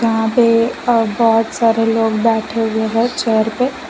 यहां पे अ बहोत सारे लोग बैठे हुए हैं चेयर पे।